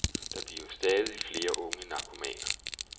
Der bliver stadig flere unge narkomaner.